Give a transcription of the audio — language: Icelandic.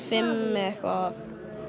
fimm eða eitthvað